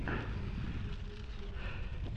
найти смешные челленджи